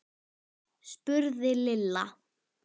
spurði Lilla.